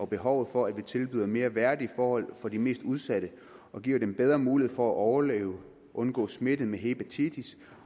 behovet for at vi tilbyder mere værdige forhold for de mest udsatte og giver dem bedre mulighed for at overleve at undgå smitte med hepatitis